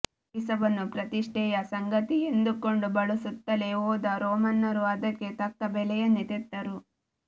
ಸೀಸವನ್ನು ಪ್ರತಿಷ್ಠೆಯ ಸಂಗತಿ ಎಂದುಕೊಂಡು ಬಳಸುತ್ತಲೇ ಹೋದ ರೋಮನ್ನರು ಅದಕ್ಕೆ ತಕ್ಕ ಬೆಲೆಯನ್ನೇ ತೆತ್ತರು